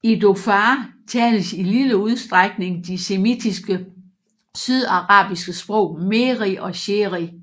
I Dhofar tales i lille udstrækning de semitiske sydarabiske sprog mehri og shehri